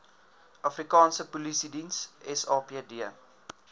afrikaanse polisiediens sapd